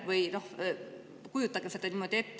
Või kujutage seda niimoodi ette.